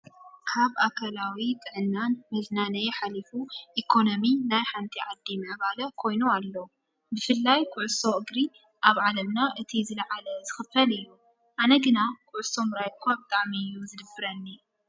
ስፖርት ፦ ካብ ኣካላዊ ጥዕናን መዝናነይ ሓሊፉ ኢኮኖሚ ናይ ሓንቲ ዓዲ ምዕባለ ኮይኑ ኣሎ። ብፍላይ ኩዕሶ እግሪ ኣብ ዓለምና እቲ ዝለዓለ ዝኽፈል እዩ። ኣነ ግና ኩዕሶ ምርኣይ እኳ ብጣዕሚ እዩ ዝድብረኒ።